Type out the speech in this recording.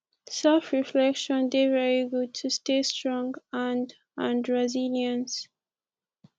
self reflection dey very good to stay strong and and resilience